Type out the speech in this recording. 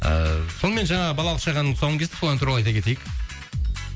ыыы сонымен жаңағы балалық шақ әнінің тұсауын кестік қой сол ән туралы айта кетейік